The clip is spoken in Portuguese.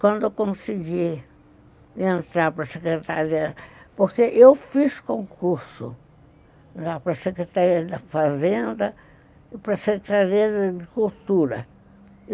Quando eu consegui entrar para a secretaria, porque eu fiz concurso para a secretaria da fazenda e para a secretaria de cultura.